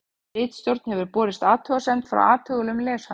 Ritstjórn hefur borist athugasemd frá athugulum lesanda.